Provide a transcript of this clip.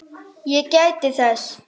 Ég gæti þess.